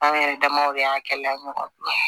An yɛrɛ damaw de y'a kɛ la ɲɔgɔn bolo